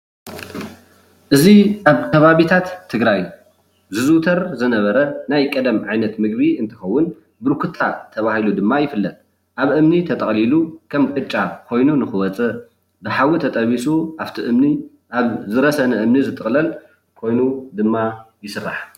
እዚ አብ ከባቢታት ትግራይ ዝዝውተር ዝነበረ ናይ ቀደም ዓይነት ምግቢ እንትኸዉን ብርኩታ ተባሂሉ ድማ ይፍለጥ አብ እምኒ ተጠቅሊሉ ከም ቅጫ ኾይኑ ንኽወፅእ ብሓዊ ተጠቢሱ አፍቲ እምኒ አብ ዝረሰነ እምኒ ዝጥቅለል ኮይኑ ድማ ይስራሕ።